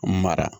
Mara